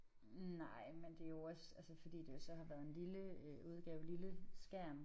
Nej men det jo også altså fordi det jo så har været en lille øh udgave lille skærm